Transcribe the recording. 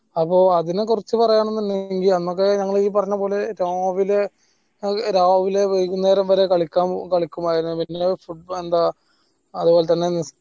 അപ്പൊ അതിനെ കുറിച്ച് പറയണമെന്നുണ്ടെങ്കിൽ അന്നൊക്കെ ഈ പറഞ്ഞ പോലെ രാവിലെ രാവിലെ വൈകുന്നേരം വരെ കളിക്കാൻ കളിക്കുമായിരുന്നു പിന്നെ football എന്താ അത്പോൽ തന്നെ എന്താ